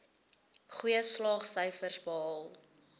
goeie slaagsyfers behaal